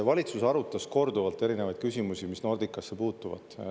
Valitsus arutas korduvalt erinevaid küsimusi, mis Nordicasse puutuvad.